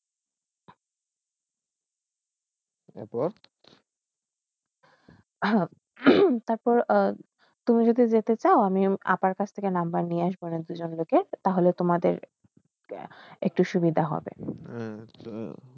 তার পর তার পর তুমি যদি যাইতে সাও আমি এক সেকেন্ড নম্বর নিয়ে আসন তাহইলে তোমাদের একটু সুবিধা হবে